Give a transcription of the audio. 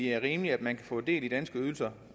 er rimeligt at man kan få del i danske ydelser